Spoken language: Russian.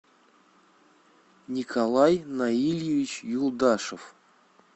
николай наильевич юлдашев